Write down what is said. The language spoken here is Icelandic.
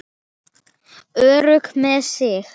Örugg með sig.